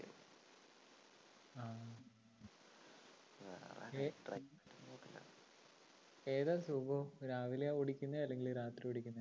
ആ night driving കുഴപ്പമില്ല. ഏതാ സുഖം രാവിലെ ഓടിക്കുന്നതോ അല്ലെങ്കിൽ രാത്രി ഓടിക്കുന്നതോ?